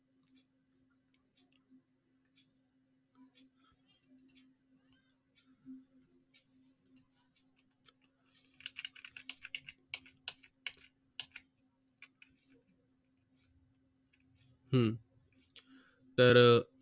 हम्म तर